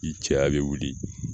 I cɛya bɛ wuli